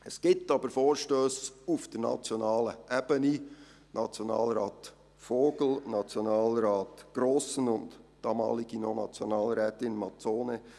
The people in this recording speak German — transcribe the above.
Es gibt jedoch Vorstösse auf nationaler Ebene, von Nationalrat Vogel, Nationalrat Grossen und der damaligen Nationalrätin Mazzone.